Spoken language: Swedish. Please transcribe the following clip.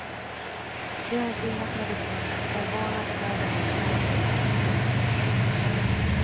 De har sina traditioner, är vana att färdas och sova på ett visst sätt.